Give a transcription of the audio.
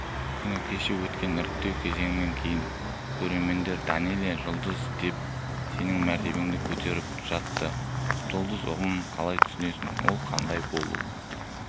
күні кеше өткен іріктеу кезеңінен кейін көрермендер данэлия жұлдыз деп сенің мәртебеңді көтеріп жатты жұлдыз ұғымын қалай түсінесің ол қандай болуы